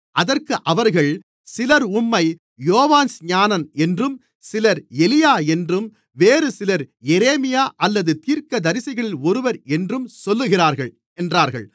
அதற்கு அவர்கள் சிலர் உம்மை யோவான்ஸ்நானன் என்றும் சிலர் எலியா என்றும் வேறுசிலர் எரேமியா அல்லது தீர்க்கதரிசிகளில் ஒருவர் என்றும் சொல்லுகிறார்கள் என்றார்கள்